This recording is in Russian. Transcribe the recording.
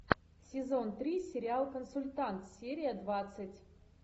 сезон три сериал консультант серия двадцать